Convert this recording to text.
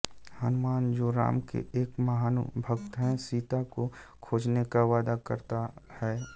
हनुमान जो राम के एक महान भक्त हैं सीता को खोजने का वादा करता हैं